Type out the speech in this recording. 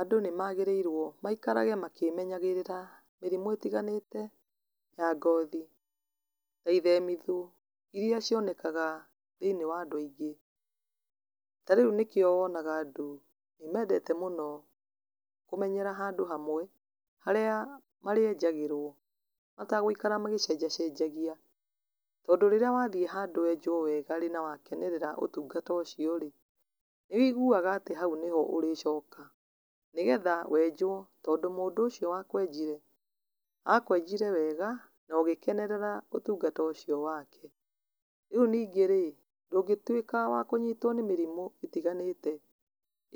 Andũ nĩ maragĩrĩirwo maikare makĩmenyagĩrĩra mĩrimũ ĩtiganĩte ya ngothi na ithemitho iria cionekaga thĩinĩ wa andũinĩ, ta rĩu nĩkĩo wonaga andũ mendaga kũmenyera handũ hamwe, harĩa enjagĩrwo mategũikara magĩcenjacenjagia, tondũ rĩrĩa wathiĩ handũ wenjwo wega na wakenerera ũtungata ũcio rĩ, nĩ wũigua atĩ hau noho ũrĩ coka, nĩgetha wenjwo, tondũ mũndũ ũcio wa kwenjire, akwenjire wega na ũgĩkenerera ũtungata ũcio wake, rĩu ningĩ rĩ ndũngĩtuĩka wa kũnyitwo nĩ mĩrimũ ĩtiganĩte